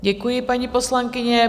Děkuji, paní poslankyně.